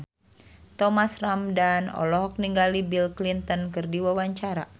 Thomas Ramdhan olohok ningali Bill Clinton keur diwawancara